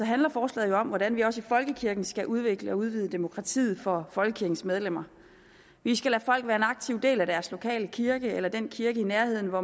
handler forslaget om hvordan vi også i folkekirken skal udvikle og udvide demokratiet for folkekirkens medlemmer vi skal lade folk være en aktiv del af deres lokale kirke eller den kirke i nærheden hvor